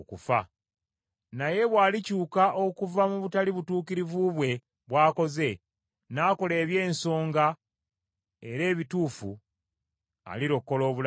Naye bw’alikyuka okuva mu butali butuukirivu bwe bw’akoze, n’akola eby’ensonga era ebituufu, alirokola obulamu bwe.